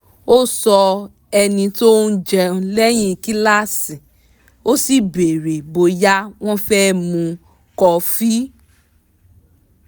ó sọ ẹni tí òun jẹ́ lẹ́yìn kíláàsì ó sì béèrè bóyá wọ́n fẹ́ mu kọ́fì